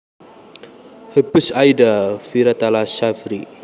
Hubeis Aida Vitayala Sjafri